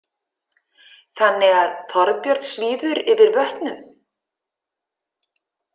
Þannig að Þorbjörn svífur yfir vötnum?